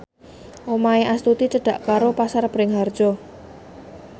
omahe Astuti cedhak karo Pasar Bringharjo